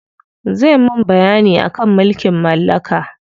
Zai mun bayyani akan mulkin mallaka.